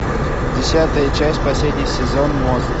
десятая часть последний сезон мост